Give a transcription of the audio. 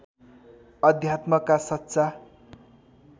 अध्यात्मका सच्चा